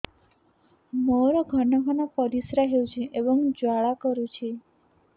ମୋର ଘନ ଘନ ପରିଶ୍ରା ହେଉଛି ଏବଂ ଜ୍ୱାଳା କରୁଛି